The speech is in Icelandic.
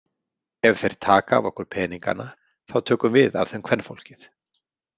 Ef þeir taka af okkur peningana, þá tökum við af þeim kvenfólkið.